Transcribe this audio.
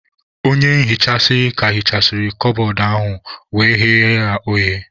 Onye nhicha ka hichasịrị kabọọdụ ahu wee ghewe ya oghe.